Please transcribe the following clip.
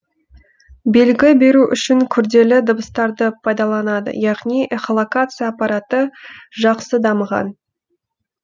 белгі беру үшін күрделі дыбыстарды пайдаланады яғни эхолокация аппараты жақсы дамыған